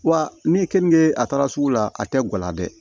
Wa ne ye kenige a taara sugu la a tɛ guwan na dɛ